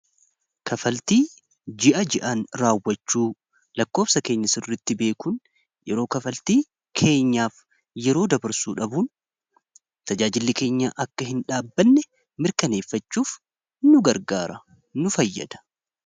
Kaffaltii ji'a ji'aan raawwachuu lakkoofsa keenyasauritti beekuun yeroo kafaltii keenyaaf yeroo dabarsuu dhabuun tajaajillikeenyaa akka hin dhaabbanne mirkaneeffachuuf nu gargaara nu fayyada.